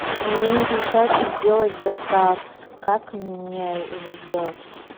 у меня не получается сделать заказ как мне его сделать